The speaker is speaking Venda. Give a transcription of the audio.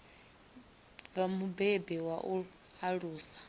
vha mubebi wa u alusa